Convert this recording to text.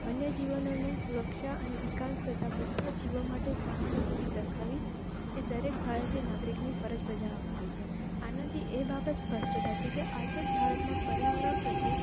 વન્ય જીવનની સુરક્ષા અને વિકાસ તથા બધા જીવવા માટે સહાનુભૂતિ દાખવી એ દરેક ભારતીય નાગરિકની ફરજ બાજવા માં આવે છે. આના થી એ બાબત સ્પષ્ટ થાય છે કે આઝાદ ભારતના પર્યાવરણ પ્રત્યે.